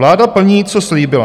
Vláda plní, co slíbila.